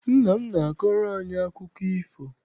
Nna m na-akọrọ anyị akụkọ ifo.